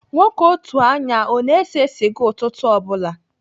Nwoke otu anya a ọ na-ese sịga ụtụtụ ọ bụla?